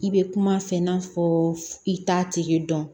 I bɛ kuma a fɛ i n'a fɔ i t'a tigi dɔn